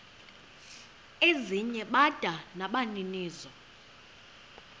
ezinye bada nabaninizo